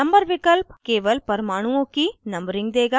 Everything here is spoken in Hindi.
number विकल्प केवल परमाणुओं की numbering देगा